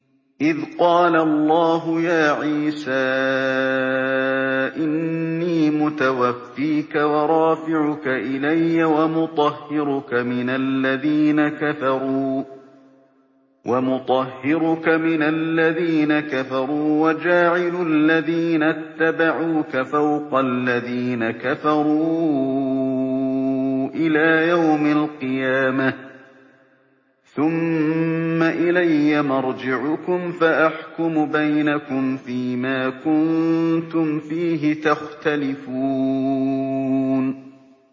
إِذْ قَالَ اللَّهُ يَا عِيسَىٰ إِنِّي مُتَوَفِّيكَ وَرَافِعُكَ إِلَيَّ وَمُطَهِّرُكَ مِنَ الَّذِينَ كَفَرُوا وَجَاعِلُ الَّذِينَ اتَّبَعُوكَ فَوْقَ الَّذِينَ كَفَرُوا إِلَىٰ يَوْمِ الْقِيَامَةِ ۖ ثُمَّ إِلَيَّ مَرْجِعُكُمْ فَأَحْكُمُ بَيْنَكُمْ فِيمَا كُنتُمْ فِيهِ تَخْتَلِفُونَ